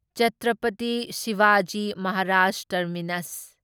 Chhatrapati Shivaji Maharaj terminus